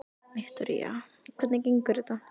Viktoría: Hvernig gengur þetta?